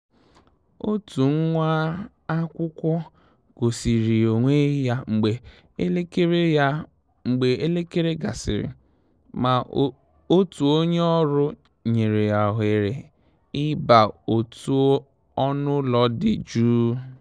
Òtù nwá-ákwụ́kwọ́ gọ́sìrì ònwé yá mgbè élékéré yá mgbè élékéré gàsị́rị̀, mà òtù ó nyé ọ́rụ́ nyèrè yá òhéré ì bà òtù ọ́nụ́ ụ́lọ́ dì jụ́ụ́.